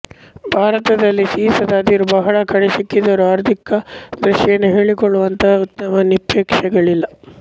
ಭಾರತದಲ್ಲಿ ಸೀಸದ ಅದಿರು ಬಹಳ ಕಡೆ ಸಿಕ್ಕಿದ್ದರೂ ಆರ್ಥಿಕ ದೃಷ್ಟಿಯಿಂದ ಹೇಳಿಕೊಳ್ಳುವಂಥ ಉತ್ತಮ ನಿಕ್ಷೇಪಗಳಿಲ್ಲ